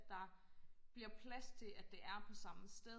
der bliver plads til at det er på samme sted